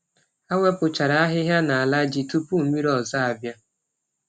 Ha wepụchara ahịhịa n’ala ji tupu mmiri ọzọ abịa.